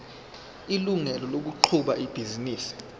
ilungelo lokuqhuba ibhizinisi